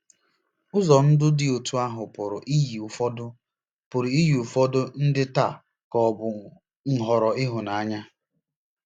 Ụzọ ndụ dị otú ahụ pụrụ iyi ụfọdụ pụrụ iyi ụfọdụ ndị taa ka ọ̀ bụ nhọrọ ịhụnanya.